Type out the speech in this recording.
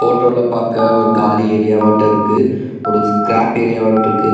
போட்டோல பாக்க ஒரு காலி ஏரியா வாட்ட இருக்கு ஒரு ஸ்கிராப் ஏரியா வாட்ட இருக்குக்.